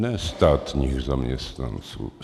Ne státních zaměstnanců.